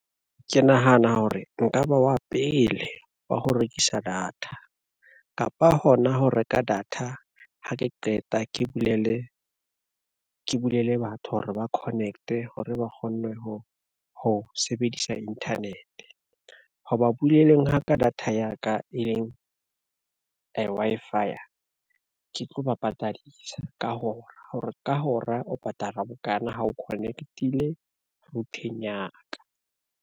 Ke nahana hore nka ba wa pele wa ho rekisa data, kapa hona ho reka data ha ke qeta ke bulele, ke bulele batho hore ba connect-e hore ba kgonne ho sebedisa internet. Ho ba buleleng ha ka data ya ka e leng, Wi-Fi ke tlo ba patadisa ka hora hore ka hora o patala bokana ha o connect-ile router-eng ya ka.